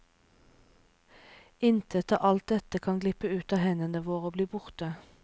Intet av alt dette kan glippe ut av hendene våre og bli borte.